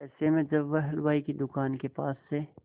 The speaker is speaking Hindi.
ऐसे में जब वह हलवाई की दुकान के पास से